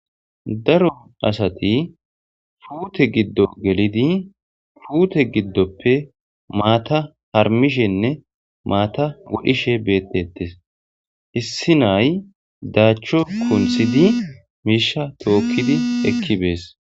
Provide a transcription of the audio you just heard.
Daro asati fuute giddo gelidi fuute giddoppe maata harmishenne maata wodhishe beettettes issi nay daachcho kunthidi miisha tookkidi ekkibees